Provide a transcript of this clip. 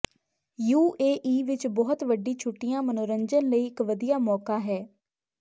UAE ਵਿੱਚ ਬਹੁਤ ਵੱਡੀ ਛੁੱਟੀਆਂ ਮਨੋਰੰਜਨ ਲਈ ਇੱਕ ਵਧੀਆ ਮੌਕਾ ਹੈ